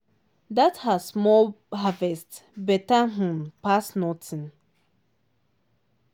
that her small harvest better um pass nothing.